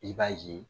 I b'a ye